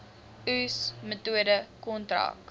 oes metode kontrak